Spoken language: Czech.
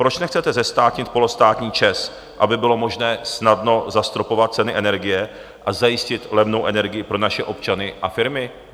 Proč nechcete zestátnit polostátní ČEZ, aby bylo možné snadno zastropovat ceny energie a zajistit levnou energii pro naše občany a firmy?